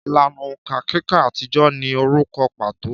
Ìlànà òǹkà kíkà àtijọ́ ní orúkọ pàtó